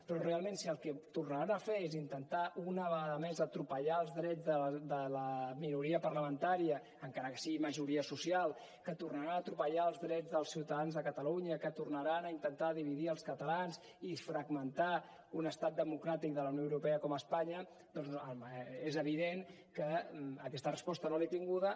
però realment si el que tornaran a fer és intentar una vegada més és atropellar els drets de la minoria parlamentària encara que sigui majoria social que tornaran a atropellar els drets dels ciutadans de catalunya que tornaran a intentar dividir els catalans i fragmentar un estat democràtic de la unió europea com espanya doncs és evident que aquesta resposta no l’he tinguda